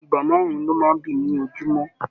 Ìgbà márùn lọ máa n bí ní ojumọ.